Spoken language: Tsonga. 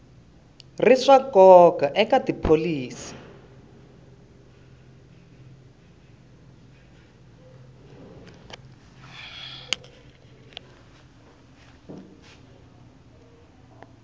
ri swa nkoka eka tipholisi